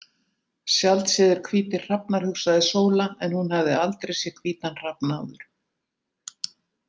„Sjaldséðir hvítir hrafnar“ hugsaði Sóla en hún hafði aldrei séð hvítan hrafn áður.